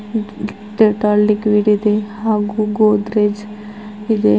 ಲಿಕ್ವಿಡ ಇದೆ ಹಾಗು ಗೊಡ್ರೆಜ್ ಇದೆ.